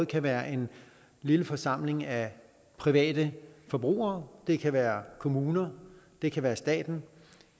kan være en lille forsamling af private forbrugere det kan være kommuner det kan være staten